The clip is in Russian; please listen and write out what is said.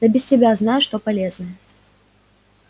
да без тебя знаю что полезное